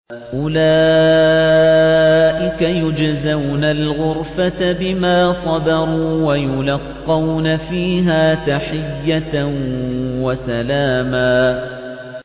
أُولَٰئِكَ يُجْزَوْنَ الْغُرْفَةَ بِمَا صَبَرُوا وَيُلَقَّوْنَ فِيهَا تَحِيَّةً وَسَلَامًا